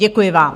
Děkuji vám.